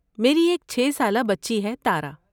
میری ایک چھے سالہ بچی ہے تارا